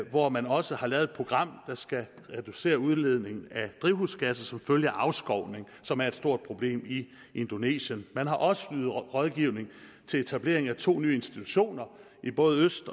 hvor man også har lavet et program der skal reducere udledningen af drivhusgasser som følge af afskovning som er et stort problem i indonesien man har også ydet rådgivning til etablering af to nye institutioner i både øst